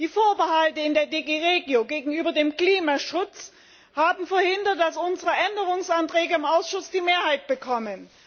Die Vorbehalte in der DG REGIO gegenüber dem Klimaschutz haben verhindert, dass unsere Änderungsanträge im Ausschuss die Mehrheit bekommen.